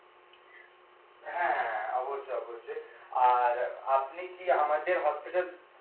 হ্যাঁ, অবশ্যই অবশ্যই আর আপনি কি আমাদের হাসপাতাল